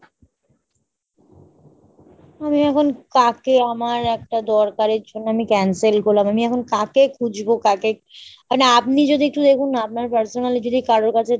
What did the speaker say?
আমি এখন কাকে, আমার একটা দরকারের জন্য আমি cancel করলাম। আমি এখন কাকে খুঁজবো কাকে মানে আপনি যদি একটু দেখুন না আপনার personally যদি কারোর কাছে